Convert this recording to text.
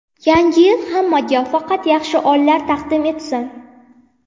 Yangi yil hammaga faqat yaxshi onlar taqdim etsin.